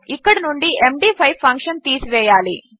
ఇక్కడి నుండి MD five function తీసివేయాలి